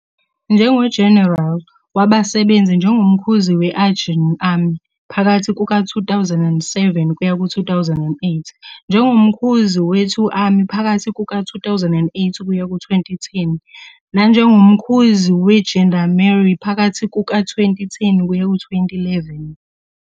NjengoGeneral, wasebenza njengoMkhuzi we-Aegean Army phakathi kuka-2007-2008, njengoMkhuzi we- 2 Army phakathi kuka-2008-2010, nanjengoMkhuzi weGendarmerie phakathi kuka-2010-2011.